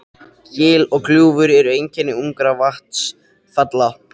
Gil og gljúfur eru einkenni ungra vatnsfalla.